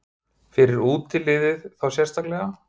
Fyrir útiliðið þá sérstaklega?